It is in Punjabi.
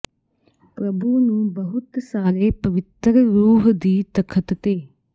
ਪ੍ਰਭੂ ਨੂੰ ਬਹੁਤ ਸਾਰੇ ਪਵਿੱਤਰ ਰੂਹ ਦੀ ਤਖਤ ਤੇ